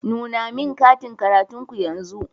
Nuna min katin karatun ku yanzu.